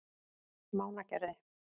Mánagerði